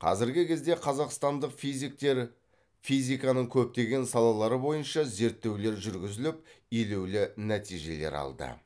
қазіргі кезде қазақстандық физиктер физиканың көптеген салалары бойынша зерттеулер жүргізіліп елеулі нәтижелер алды